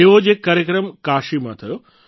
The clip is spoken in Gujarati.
એવો જ એક કાર્યક્રમ કાશીમાં થયો